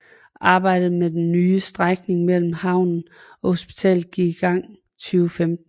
Arbejdet med den nye strækning mellem havnen og hospitalet gik i gang i 2015